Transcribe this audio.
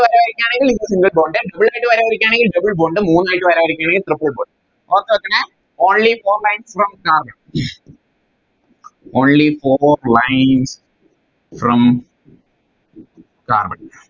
ഒരു വര വരക്കുവാണെങ്കിൽ Single bond രണ്ടായിട്ട് വര വരക്കുവാണെങ്കിൽ Double bond മൂന്നായിട്ട് വര വരാക്കുവാണെങ്കിൽ Triple bond ഓർത്ത് വെക്കണേ Only four lines from carbon only four lines from Carbon